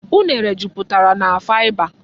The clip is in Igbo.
Unere jupụtara na faịba.